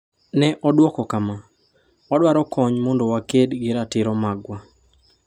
Ne odwoko kama: “Wadwaro kony mondo waked gi ratiro magwa.”